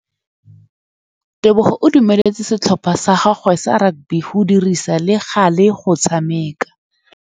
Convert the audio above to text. Tebogô o dumeletse setlhopha sa gagwe sa rakabi go dirisa le galê go tshameka.